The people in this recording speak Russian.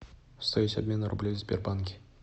стоимость обмена рублей в сбербанке